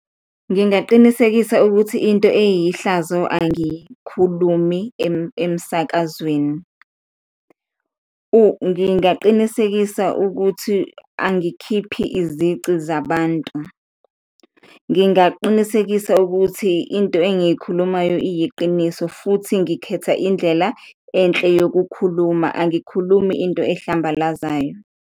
Ngingaqinisekisa ukuthi into eyihlazo angiyikhulumi emsakazweni , ngingaqinisekisa ukuthi angikhiphi izici zabantu, ngingaqinisekisa ukuthi into engiyikhulumayo iyiqiniso futhi ngikhetha indlela enhle yokukhuluma, angikhulumi into ehlambalazayo.